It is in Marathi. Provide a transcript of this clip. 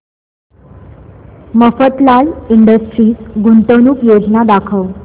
मफतलाल इंडस्ट्रीज गुंतवणूक योजना दाखव